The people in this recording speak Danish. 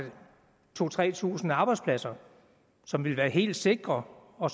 to tusind tre tusind arbejdspladser som ville være helt sikre og